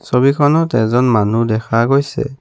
ছবিখনত এজন মানুহ দেখা গৈছে।